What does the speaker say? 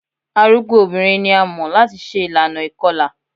Arugbo obinrin ni a mọ lati ṣe ilana ikọla